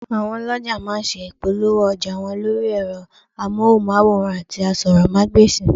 Àwọn ọlọ̀jà má a nse ìpolówó ọjà wọn lórí ẹ̀rọ amóhùnmáwòràn àti asọ́rọ́mágbèsì